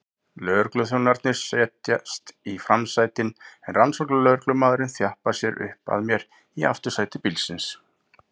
Lögregluþjónarnir setjast í framsætin en rannsóknarlögreglumaðurinn þjappar sér upp að mér í aftursæti bílsins.